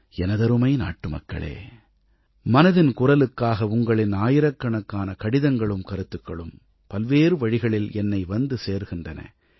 எனதருமை நாட்டுமக்களே மனதின் குரலுக்காக உங்களின் ஆயிரக்கணக்கான கடிதங்களும் கருத்துக்களும் பல்வேறு வழிகளில் என்னை வந்து சேர்கின்றன